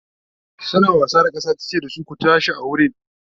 suna wasa da kasa tace da su "ku tashi a wurin!"